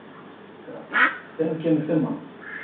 Mítra, hvenær kemur fimman?